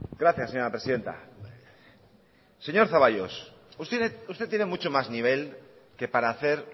gracias señora presidenta señor zaballos usted tiene mucho más nivel que para hacer